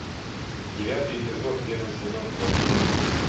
девятый эпизод первый сезон это мы